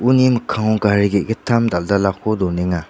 uni mikkango gari ge·gittam dal·dalako donenga.